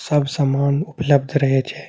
सब सामान उपलब्ध रहे छे।